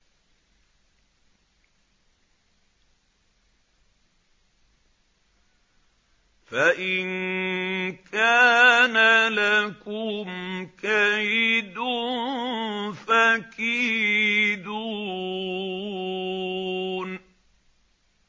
فَإِن كَانَ لَكُمْ كَيْدٌ فَكِيدُونِ